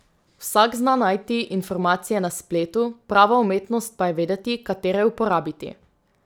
Vsak zna najti informacije na spletu, prava umetnost pa je vedeti, katere uporabiti.